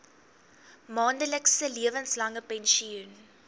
maandelikse lewenslange pensioen